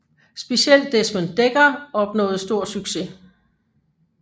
Specielt Desmond Dekker opnåede stor succes